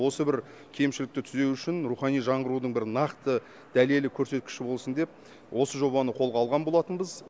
осы бір кемшілікті түзеу үшін рухани жаңғырудың бір нақты дәлелі көрсеткіші болсын деп осы жобаны қолға алған болатынбыз